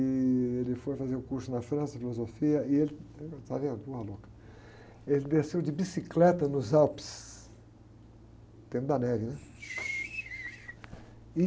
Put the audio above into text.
E ele foi fazer o curso na França, de Filosofia. também era um louca, ele desceu de bicicleta nos Alpes, dentro da neve, né?